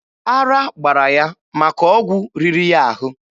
Ara gbara ya maka ọgwụ riri ya ahụ.